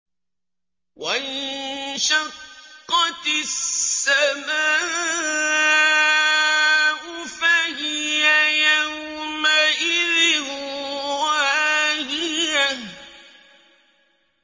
وَانشَقَّتِ السَّمَاءُ فَهِيَ يَوْمَئِذٍ وَاهِيَةٌ